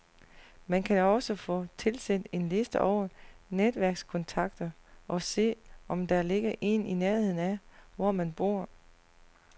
Man kan også få tilsendt en liste over netværkskontakter og se, om der ligger en i nærheden af, hvor man bor.